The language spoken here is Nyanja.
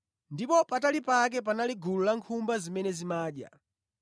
Ndipo patali pake panali gulu la nkhumba zimene zimadya.